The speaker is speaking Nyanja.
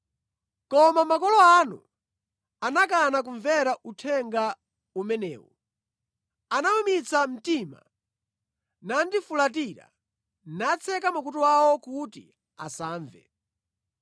“Koma makolo anu anakana kumvera uthenga umenewu; anawumitsa mtima nandifulatira, natseka makutu awo kuti asamve.